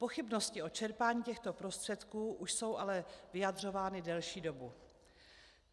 Pochybnosti o čerpání těchto prostředků už jsou ale vyjadřovány delší dobu.